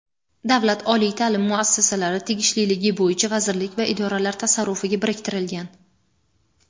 Davlat oliy taʼlim muassasalari tegishliligi bo‘yicha vazirlik va idoralar tasarrufiga biriktirilgan:.